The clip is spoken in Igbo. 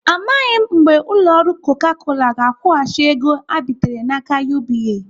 Amaghị mgbe ụlọ ọrụ Coca Cola ga-akwụghachi ego ha bitere n'aka UBA.